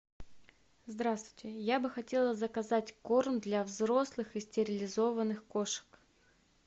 здравствуйте я бы хотела заказать корм для взрослых и стерилизованных кошек